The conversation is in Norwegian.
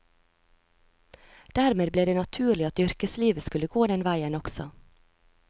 Dermed ble det naturlig at yrkeslivet skulle gå den veien også.